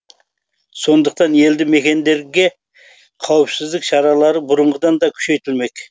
сондықтан елді мекендерге қауіпсіздік шаралары бұрынғыдан да күшейтілмек